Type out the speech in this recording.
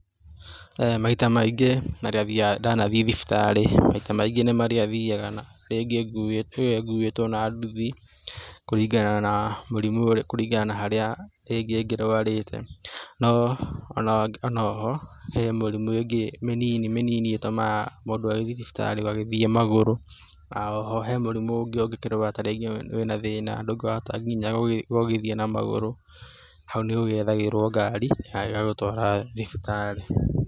Maita maingĩ rĩrĩa marĩa ndanathiĩ thibitarĩ maingĩ nĩ marĩa thiaga rĩngĩ nguĩtwo na nduthi kũringana na mũrimũ, kũringana na harĩa rĩngĩ ngĩrwarĩte, no onoho he mĩrimũ ĩngĩ mĩnini ĩtũmaga mũndũ agĩthiĩ thibitarĩ agagĩthiĩ magũrũ oho he mũrimũ ũngĩ ũngĩkĩrwara ta rĩngĩ wĩna thĩna ndũrahota gũthiĩ na magũrũ hau nĩũgĩethagĩrwo ngari ĩgagĩgũtwara thibitarĩ.